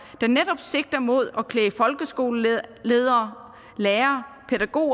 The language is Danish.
der netop sigter imod at klæde folkeskoleledere lærere